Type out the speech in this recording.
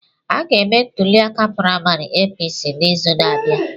A ga-eme ntuliaka praịmarị APC n'izu na-abịa.